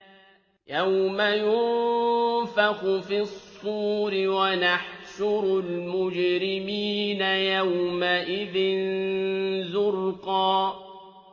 يَوْمَ يُنفَخُ فِي الصُّورِ ۚ وَنَحْشُرُ الْمُجْرِمِينَ يَوْمَئِذٍ زُرْقًا